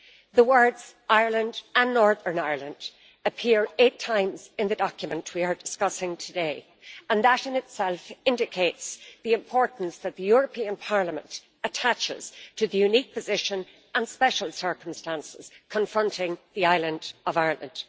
The words Ireland and Northern Ireland appear eight times in the document we are discussing today, and that in itself indicates the importance that the European Parliament attaches to the unique position and special circumstances confronting the island of Ireland.